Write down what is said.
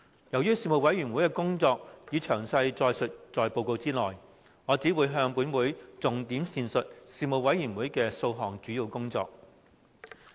由於事務委員會的工作已詳載於報告內，我只會重點闡述事務委員會的數項主要工作。